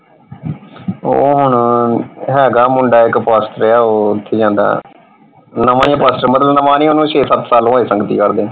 ਉਹ ਹੁਣ ਹੈਗਾ ਮੁੰਡਾ ਇਕ ਪਾਸਟਰ ਆ ਉਹ ਓਥੇ ਜਾਂਦਾ ਨਵਾਂ ਹੀ ਹੈ ਪਾਸਟਰ ਮਤਲਬ ਨਵਾਂ ਨਹੀਂ ਓਹਨੂੰ ਛੇ ਸੱਤ ਸਾਲ ਹੋਏ ਸੰਗਤੀ ਕਰਦੇ ਨੂੰ।